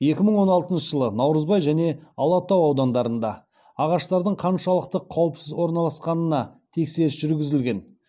екі мың он алтыншы жылы наурызбай және алатау аудандарында ағаштардың қаншалықты қауіпсіз орналасқанына тексеріс жүргізілген